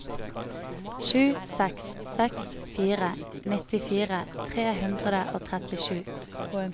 sju seks seks fire nittifire tre hundre og trettisju